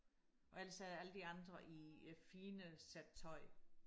og ellers er alle de andre i fine sæt tøj